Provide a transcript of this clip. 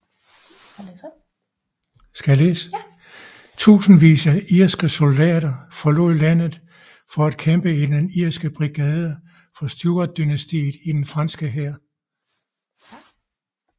Tusindvis af irske soldater forlod landet for at kæmpe i den Irske Brigade for Stuartdynastiet i den franske hær